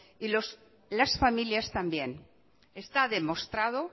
y las familias también está demostrado